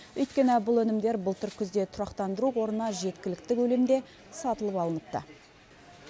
өйткені бұл өнімдер былтыр күзде тұрақтандыру қорына жеткілікті көлемде сатылып алыныпты